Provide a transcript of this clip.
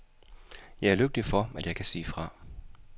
Jeg er lykkelig for, at jeg kan sige fra.